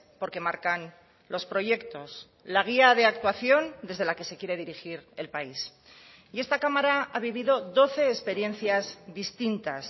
porque marcan los proyectos la guía de actuación desde la que se quiere dirigir el país y esta cámara ha vivido doce experiencias distintas